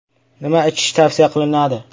Nima ichish tavsiya qilinadi?